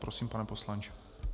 Prosím, pane poslanče.